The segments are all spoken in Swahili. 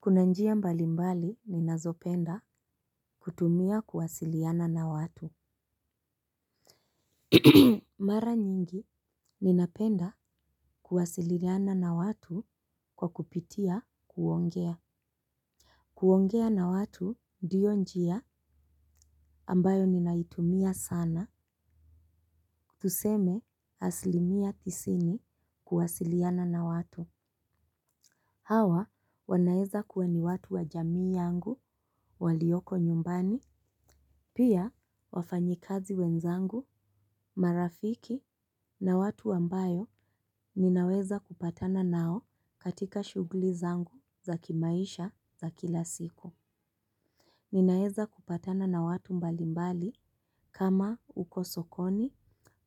Kuna njia mbali mbali, ninazopenda kutumia kuwasiliana na watu. Mara nyingi, ninapenda kuwasililiana na watu kwa kupitia, kuongea. Kuongea na watu, ndio njia, ambayo ninaitumia sana, tuseme, asilimia tisini, kuwasiliana na watu. Hawa, wanaeza kuwa ni watu wa jamii yangu, walioko nyumbani. Pia, wafanyikazi wenzangu, marafiki na watu ambayo minaweza kupatana nao, katika shughuli zangu, za kimaisha, za kila siku. Ninaeza kupatana na watu mbalimbali, kama uko sokoni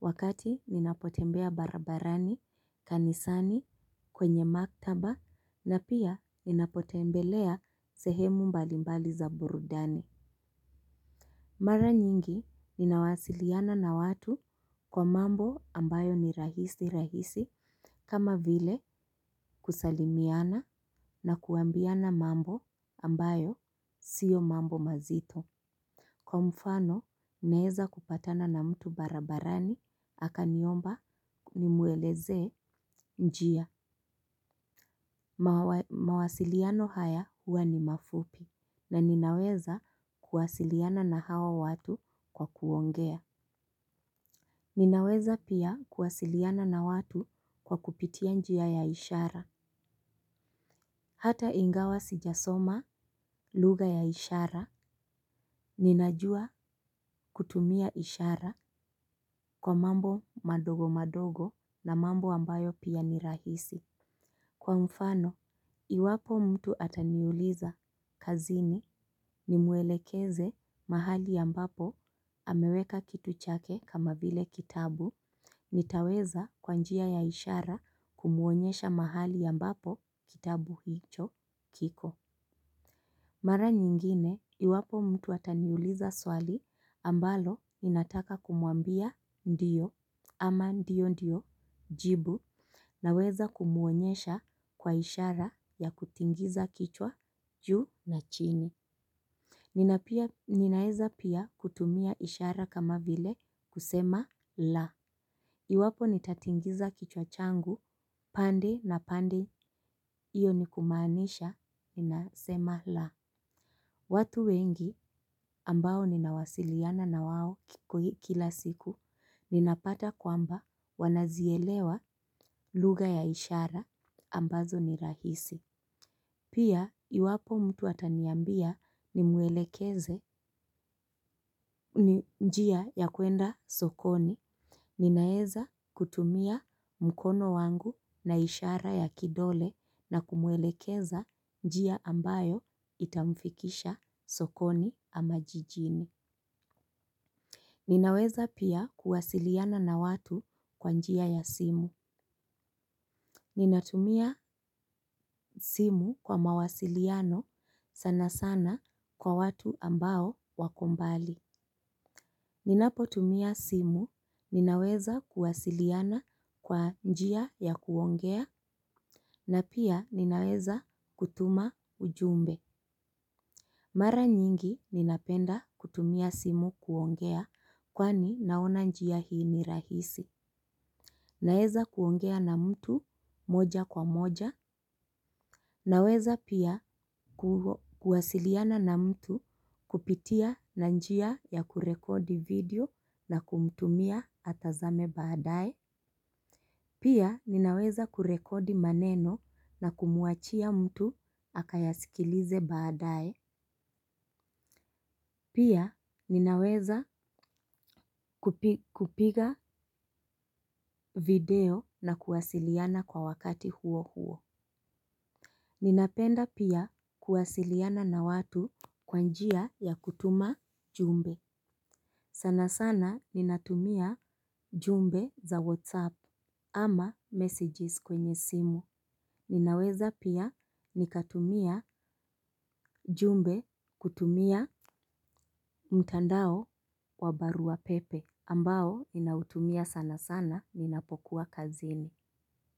wakati ninapotembea barabarani, kanisani, kwenye maktaba na pia, ninapotembelea, sehemu mbalimbali za burudani. Mara nyingi, ninawasiliana na watu, kwa mambo ambayo ni rahisi rahisi, kama vile kusalimiana na kuambiana mambo, ambayo, sio mambo mazito. Kwa mfano, naeza kupatana na mtu barabarani, akaniomba, nimuelezee, njia. Mawasiliano haya, huwa ni mafupi. Na ninaweza, kuwasiliana na hawa watu, kwa kuongea. Ninaweza pia, kuwasiliana na watu kwa kupitia njia ya ishara. Hata ingawa sijasoma, lugha ya ishara, ninajua, kutumia ishara, kwa mambo madogo madogo na mambo ambayo pia, ni rahisi. Kwa mfano, iwapo mtu ataniuliza, kazini ni muelekeze mahali ambapo, ameweka kitu chake, kama vile kitabu, nitaweza, kwa njia ya ishara, kumuonyesha mahali ambapo, kitabu hicho, kiko. Mara nyingine, iwapo mtu ataniuliza swali ambalo, ninataka kumuambia, ndiyo ama ndiyo ndiyo jibu na weza kumuonyesha, kwa ishara ya kutingiza kichwa juu na chini. Ninaeza pia, kutumia ishara kama vile kusema la iwapo nitatingiza kichwa changu, pande na pande iyoni kumaanisha ninasema la. Watu wengi, ambao ninawasiliana na wao, kila siku, ninapata kwamba wanazielewa lugha ya ishara ambazo ni rahisi. Pia, iwapo mtu ataniambia, ni muwelekeze, njia ya kuenda sokoni, ninaeza, kutumia, mkono wangu na ishara ya kidole na kumuelekeza, njia ambayo itamfikisha, sokoni ama jijini. Ninaweza pia, kuwasiliana na watu kwa njia ya simu. Ninatumia, simu kwa mawasiliano, sana sana kwa watu ambao wako mbali. Ninapo tumia simu, ninaweza kuwasiliana, kwa njia ya kuongea na pia ninaweza kutuma ujumbe. Mara nyingi, ninapenda, kutumia simu kuongea, kwani, naona njia hii ni rahisi. Naeza kuongea na mtu, moja kwa moja. Naweza pia, kuwasiliana na mtu, kupitia na njia ya kurekodi video, na kumtumia atazame baadaye. Pia, ninaweza kurekodi maneno na kumuachia mtu akayasikilize baadae. Pia ninaweza kupiga video na kuwasiliana kwa wakati huo huo. Ninapenda pia, kuwasiliana na watu, kwa njia ya kutuma jumbe. Sana sana, ninatumia jumbe za whatsapp ama messages kwenye simu. Ninaweza pia, nikatumia jumbe kutumia, mtandao wa barua pepe. Ambao ninautumia sana sana ninapokuwa kazini.